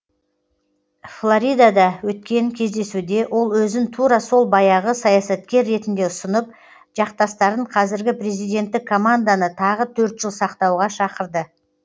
флоридада өткен кездесуде ол өзін тура сол баяғы саясаткер ретінде ұсынып жақтастарын қазіргі президенттік команданы тағы төрт жыл сақтауға шақырды